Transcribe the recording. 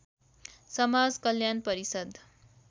समाज कल्याण परिषद्